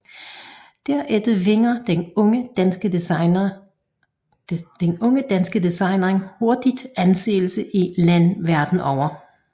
Derefter vinder den unge danske designer hurtigt anseelse i lande verden over